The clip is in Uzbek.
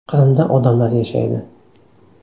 Qrimda odamlar yashaydi.